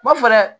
B'a fɔ dɛ